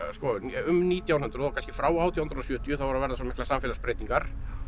um nítján hundruð kannski frá átján hundruð og sjötíu þá eru að verða svo miklar samfélagsbreytingar